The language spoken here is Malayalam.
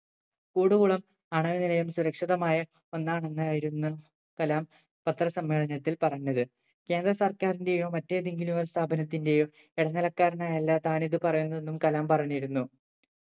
കൂടുകുളം ആണവ നിലയം സുരക്ഷിതമായ ഒന്നാണെന്നായിരുന്നു കലാം പത്ര സമ്മേളനത്തിൽ പറഞ്ഞത് കേന്ദ്ര സർക്കാരിന്റെയോ മറ്റേതെങ്കിയിലും ഒര് സ്ഥാപനത്തിന്റെയോ ഇടനിലക്കാരനായല്ല താൻ ഇത് പറയുന്നു വെന്നും കലാം പറഞ്ഞിരുന്നു